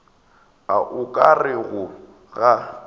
a o ka rego ga